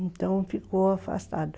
Então ficou afastado.